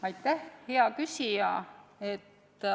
Aitäh, hea küsija!